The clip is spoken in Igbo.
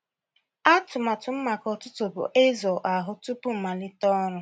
Atụmatụ m maka ụtụtụ bụ ịzụ ahụ tupu m malite ọrụ.